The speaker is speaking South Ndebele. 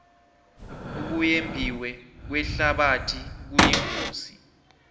ukuyembiwe kwehlabathi kuyingozi